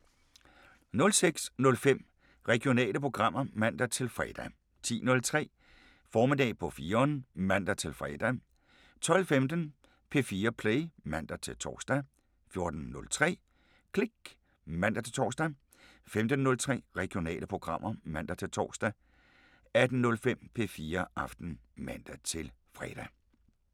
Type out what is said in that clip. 06:05: Regionale programmer (man-fre) 10:03: Formiddag på 4'eren (man-fre) 12:15: P4 Play (man-tor) 14:03: Klik (man-tor) 15:03: Regionale programmer (man-tor) 18:05: P4 Aften (man-fre)